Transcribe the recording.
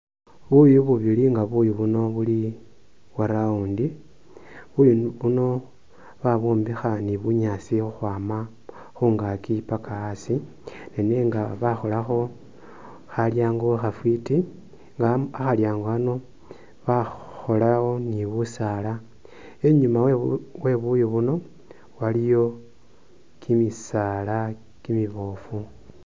Buyu bubili nga buyu buno buli bwa round, buyu buno bwabwombekha ni bunyaasi khukhwama khungaaki paka asi nenga bakholakho khalyaango khafwiti nga khalyaango khano bakhakhola ni busaala. Inyuma we buyu buno waliyo kimisaala kimiboofu.